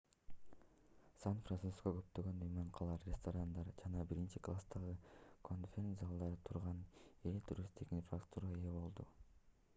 сан-франциско көптөгөн мейманканалар ресторандар жана биринчи класстагы конферен-залдардан турган ири туристтик инфраструктурага ээ болду